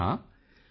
ਮੋਦੀ ਜੀ ਹਾਂ ਹਾਂ